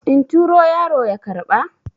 in turo yaro ya karɓa?